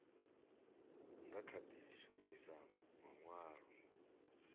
nga kha di shumisa manwalo